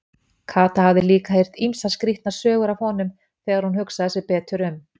Kata hafði líka heyrt ýmsar skrýtnar sögur af honum þegar hún hugsaði sig betur um.